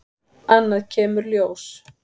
Annað kemur ljós